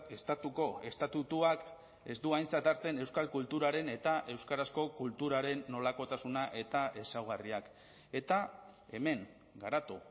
estatuko estatutuak ez du aintzat hartzen euskal kulturaren eta euskarazko kulturaren nolakotasuna eta ezaugarriak eta hemen garatu